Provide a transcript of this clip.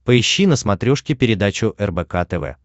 поищи на смотрешке передачу рбк тв